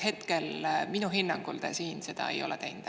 Minu hinnangul te hetkel seda ei ole teinud.